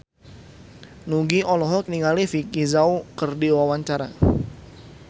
Nugie olohok ningali Vicki Zao keur diwawancara